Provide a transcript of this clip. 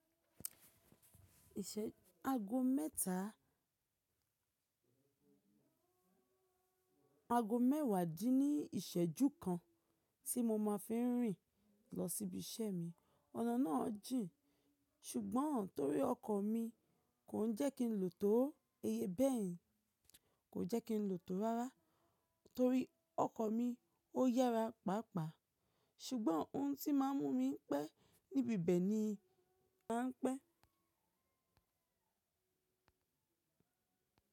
Ìṣẹ́ ago mẹ́ta, ago mẹ́wàá díní ìsẹ̀jú kan tí mo máa fí ń rìn lọ sí ibi iṣẹ́ mi. Ọ̀nà náà jìn ṣùgbọ́n torí ọkọ̀ mi kò ń jẹ́ kín lò tó ó, iye bẹ́ẹ̀ kò jẹ́ kín lò tó rárá torí ọkọ̀ mi ó yára pàápàá ṣùgbọ́n ohun tí máa ń mú mi pẹ́ níbi ibẹ̀ ni màá pẹ́.